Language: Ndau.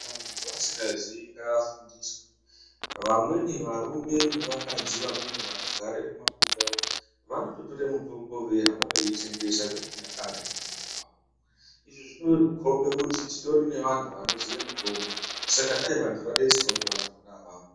Kana muntu asingaziyi ngaafundiswe. Vamweni varume nevakadzi vamweni vanogara mumabuya, vanototore mutombo veihamba veitengesa dzechinyakare. Izvi zvinokhombe kuti titori nevantu vanoziye mitombo, saka dai vantu vadetserwa ngevantu vona avavo.